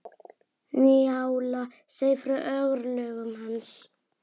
Njála segir frá örlögum hans.